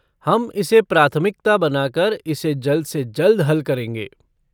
हम इसे प्राथमिकता बनाकर इसे जल्द से जल्द हल करेंगे।